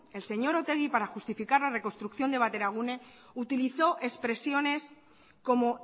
el señor otegi para justificar la reconstrucción de bateragune utilizó expresiones como